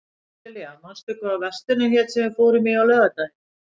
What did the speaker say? Marsilía, manstu hvað verslunin hét sem við fórum í á laugardaginn?